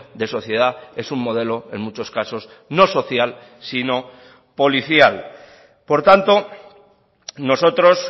de sociedad es un modelo en muchos casos no social sino policial por tanto nosotros